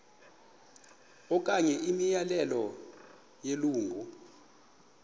okanye imiyalelo yelungu